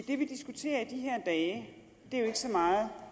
det vi diskuterer i de her dage er jo ikke så meget